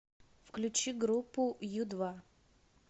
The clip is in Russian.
включи группу ю два